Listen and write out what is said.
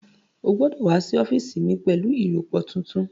Ó gbọ́dọ̀ wá sí ọ́fíìsì mi pẹ̀lú ìrọpo tuntun